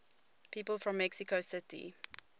people from mexico city